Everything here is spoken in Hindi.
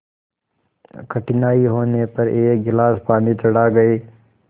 कठिनाई होने पर एक गिलास पानी चढ़ा गए